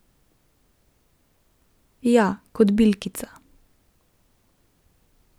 Ja, kot bilkica.